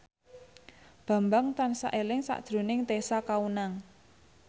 Bambang tansah eling sakjroning Tessa Kaunang